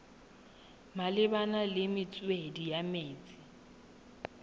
malebana le metswedi ya metsi